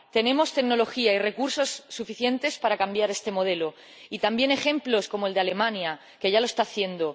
Tenemos tecnología y recursos suficientes para cambiar este modelo y, también, ejemplos como el de Alemania, que ya lo está haciendo.